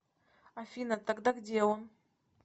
афина тогда где он